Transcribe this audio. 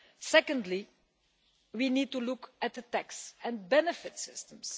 Secondly, we need to look at the tax and benefit systems.